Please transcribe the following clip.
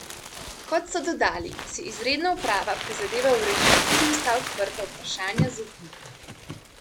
Kot so dodali, si izredna uprava prizadeva urediti tudi vsa odprta vprašanja z upniki.